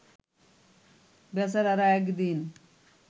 বেচারারা একদিন